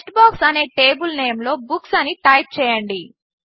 text box అనే table నేంలో books అని టైప్ చేయండి